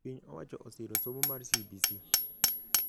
Piny owacho osiro somo mar CBC